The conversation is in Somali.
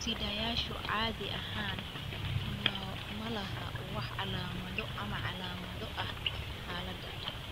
Sidayaashu caadi ahaan ma laha wax calaamado ama calaamado ah xaaladda.